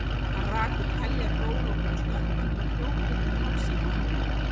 Hann rak upp heljar gól og kom stökkvandi og hljóp upp um hálsinn á ömmu.